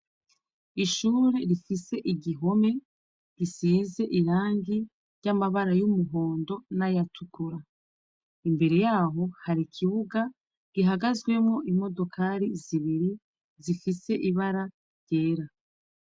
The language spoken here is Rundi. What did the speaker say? Ishure rifise igihome gisize irangi ry'amabara y'umuhondo n'ayatukura imbere yaho hari ikibuga gihagazwemo imodokari zibiri zifise ibara ryera.